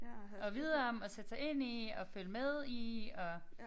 At vide om og sætte sig ind i og følge med i og